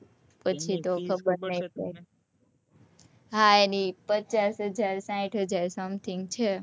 પછી હા એની પચાસ હજાર સાહીંઠ હાજર something છે